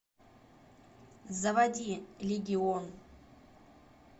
заводи легион